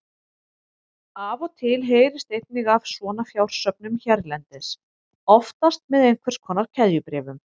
Af og til heyrist einnig af svona fjársöfnun hérlendis, oftast með einhvers konar keðjubréfum.